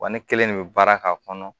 Wa ne kelen de bɛ baara k'a kɔnɔ